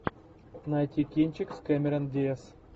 найти кинчик с кэмерон диаз